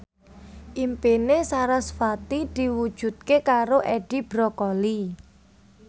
impine sarasvati diwujudke karo Edi Brokoli